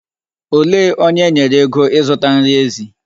Olee onye enyere ego ịzụta nri ezi?